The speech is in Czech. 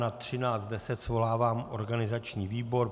Na 13.10 svolávám organizační výbor.